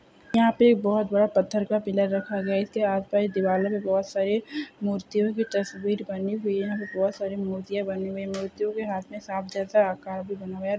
यहाँ पे एक बहुत बड़ा पत्थर का पिलर रखा गया है इसके आस-पास दीवारों पे भी बहुत सारे मूर्तियों की तस्वीर बनी हुई है| यहाँ पे बहुत सारी मुर्तियां बनी हुई है| मूर्तियों के हाथ में सांप जैसा आकार भी बना है|